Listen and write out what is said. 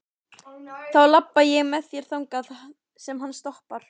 Þá labba ég með þér þangað sem hann stoppar.